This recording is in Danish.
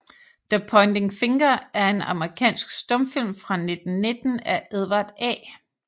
The Pointing Finger er en amerikansk stumfilm fra 1919 af Edward A